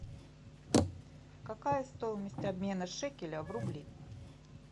какая стоимость обмена шекеля в рубли